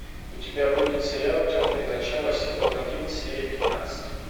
у тебя будет сериал темное начало сезон один серия пятнадцать